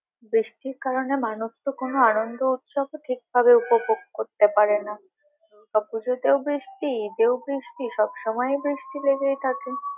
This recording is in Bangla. বৃষ্টির কারণে মানুষ তো কোনো আনন্দ, উৎসবও ঠিক ভাবে উপভোগ করতে পারে না পুজোতেও বৃষ্টি ঈদেও বৃষ্টি সব সময়েই বৃষ্টি লেগেই থাকে।